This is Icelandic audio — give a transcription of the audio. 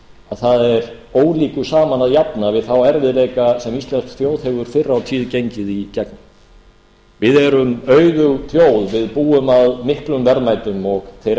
það er ólíku saman að jafna við þá erfiðleika sem íslensk þjóð hefur fyrr á tíð gengið í gegnum við erum auðug þjóð við búum að miklum verðmætum og þeir